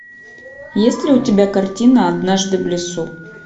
есть ли у тебя картина однажды в лесу